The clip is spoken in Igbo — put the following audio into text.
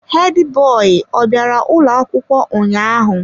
Hedi boyi ọ bịara ụlọ akwụkwọ ụnyaahụ?